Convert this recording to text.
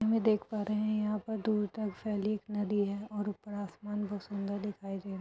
हम ये देख पा रहे हैं यहाँ दूर तक फैली एक नदी है और ऊपर आसमान बहुत सुंदर दिखाई दे रहा है |